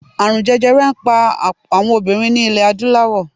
Ààrun jẹjẹrẹ n pa awọn obinrin ni ilẹ adulawọ